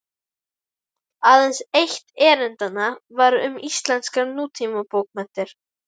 Aðeins eitt erindanna var um íslenskar nútímabókmenntir.